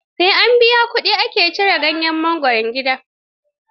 Sai an biya kuɗi ake cirar ganyen mangwaro gidan.